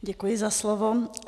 Děkuji za slovo.